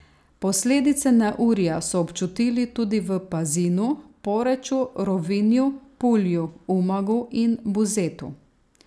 Posledice neurja so občutili tudi v Pazinu, Poreču, Rovinju, Pulju, Umagu in Buzetu.